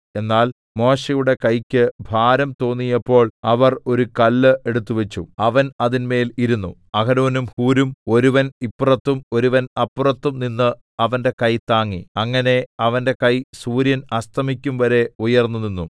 എന്നാൽ മോശെയുടെ കൈയ്ക്ക് ഭാരം തോന്നിയപ്പോൾ അവർ ഒരു കല്ല് എടുത്തുവച്ചു അവൻ അതിന്മേൽ ഇരുന്നു അഹരോനും ഹൂരും ഒരുവൻ ഇപ്പുറത്തും ഒരുവൻ അപ്പുറത്തും നിന്ന് അവന്റെ കൈ താങ്ങി അങ്ങനെ അവന്റെ കൈ സൂര്യൻ അസ്തമിക്കുംവരെ ഉയർന്നുനിന്നു